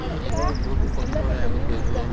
ing এইটো বহুত কষ্ট হয় আগত গৈ কিনে